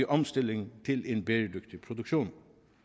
omstillingen til en bæredygtig produktion